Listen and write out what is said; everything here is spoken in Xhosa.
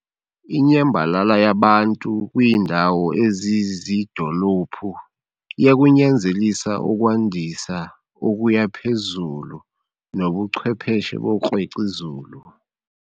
Inyambalala yabantu kwiindawo eziziidolophu iya kunyanzelisa ukwandisa okuya phezulu nobuchwepheshe 'bookrwec' izulu'.